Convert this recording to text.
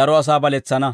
daro asaa baletsana.